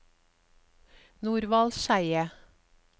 Norvald Skeie